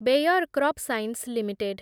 bear Crop Science limited